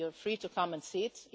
You're free to come and see it.